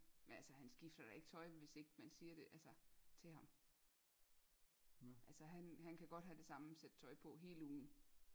Men altså han skifter da ikke tøj hvis ikke man siger det altså til ham altså han han kan godt have det samme sæt tøj på hele ugen